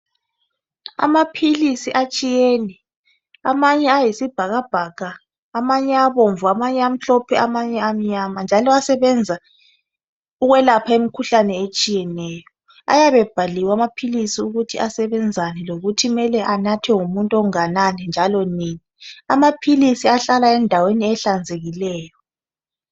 amaphilisi atshiyene amanye ayisibhakabhaka amanye abomvu amanye amhlophe amanye amnyama njalo ayasebenza ukwelapha imikhuhlane etshiyeneyo ayabe ebhaliwe amaphilisi ukuthi asebenzani lokuthi kumele anathwe ngumuntu ongakanani njalo nini amaphilisi ahlala endaweni ehlanzekileyo